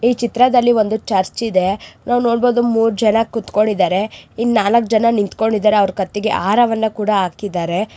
ಈ ಚಿತ್ರದಲ್ಲಿ ಒಂದು ಚರ್ಚ್ ಇದೆ ನೋಡು ಮೂರು ಜನ ಕೂತ್ಕೊಂಡು ಇದ್ದಾರೆ. ಈ ನಾಲ್ಕು ಜನ ನಿಂತುಕೊಂಡಿದ್ದಾರೆ. ಅವರ ಕತ್ತಿಗೆ ಆಹಾರವನ್ನು ಕೂಡ ಹಾಕಿದ್ದಾರೆ.